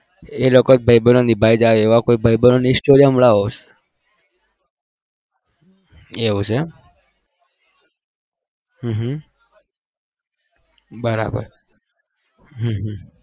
એ એવું છે હમમ બરાબર હમમ